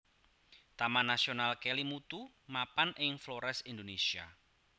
Taman Nasional Kelimutu mapan ing Flores Indonésia